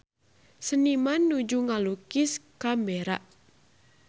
Seniman nuju ngalukis Canberra